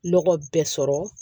Nɔgɔ bɛɛ sɔrɔ